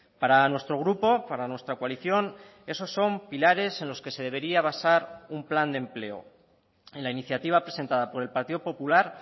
para nuestro grupo para nuestra coalición eso son pilares en los que se debería basar un plan de empleo en la iniciativa presentada por el partido popular